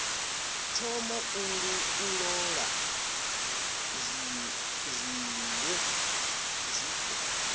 thoma u ṱoḓa zwiṅwe zwiko